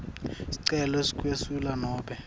sicelo sekwesula nobe